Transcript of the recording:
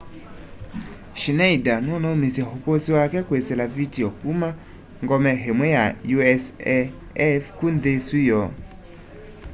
schneider nunaumisye ukusi wake kwisila vitio kuma ngome imwe ya usaf ku nthi isu yoo